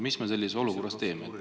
Mis me sellises olukorras teeme?